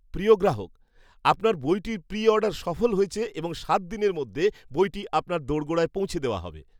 প্রিয় গ্রাহক! আপনার বইটির প্রি অর্ডার সফল হয়েছে এবং সাত দিনের মধ্যে বইটি আপনার দোরগোড়ায় পৌঁছে দেওয়া হবে।